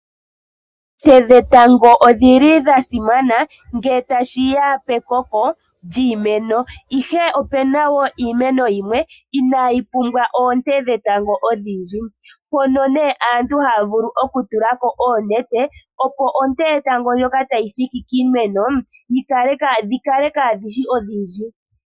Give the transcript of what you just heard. Oonte dhetango odhili dha simana nge tashiya pekoko lyiimeno ihe opena iimeno yimwe inayi pumbwa oonte dhetango odhindji, hono nee aantu haya vulu oku tulako oonete opo onte yetango ndjoka tayi thiki kiimeno dhi kale kaadhishi odhindji.